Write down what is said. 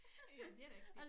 Ja det rigtig